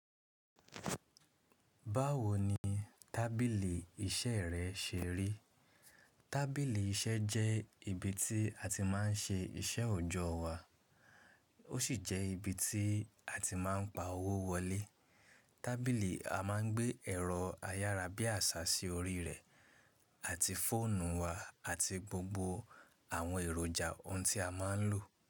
Báwo ni tábìlì iṣẹ́ rẹ ṣe rí? Tábìlì iṣẹ́ jẹ́ ibi tí a ti máa ń ṣe iṣẹ́ òjọ́ wa, ó sì jẹ́ ibi tí a ti máa ń pa owó wọlé. Tábìlì a máa ń gbé ẹ̀rọ ayárabíàṣá sí orí rẹ̀ àti fóònù wa àti gbogbo àwọn èròjà ohun tí a máa ń lò.